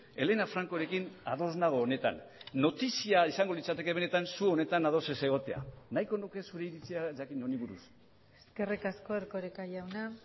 elena francorekin ados nago honetan notizia izango litzateke benetan zu honetan ados ez egotea nahiko nuke zure iritzia jakin honi buruz eskerrik asko erkoreka jauna